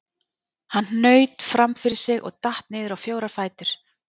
Hann hnaut fram fyrir sig og datt niður á fjóra fætur.